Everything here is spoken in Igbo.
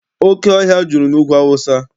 Oke ọhịa juru n'Ugwu Awụsa.